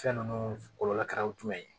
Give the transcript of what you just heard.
Fɛn ninnu kɔlɔlɔ kɛra o jumɛn ye